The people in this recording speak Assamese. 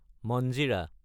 মঞ্জিৰা